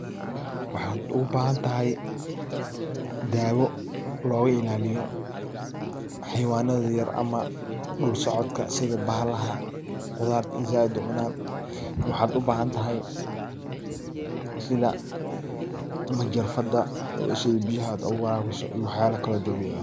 Waxaad ugu bahantahy daawo looga ilaaliyo xayawanada yaryar ama dhul socodka sidi bahala qudarta zaiid u cunan. Waxaad u bahanthay sida majarafada si aad biyaha aad ogu waraaabiso iyo waxyaala kalo dabiici ah.